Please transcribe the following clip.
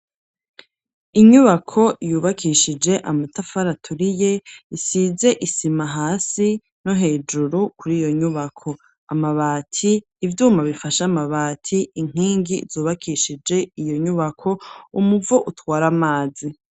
Inyubako yubakishije amatafari aturiye, isize isima hasi no hejuru kuri iyo nyubako amabati ivyuma bifashe amabati inkingi zubakishije iyo nyubako umuvo utwara amazi.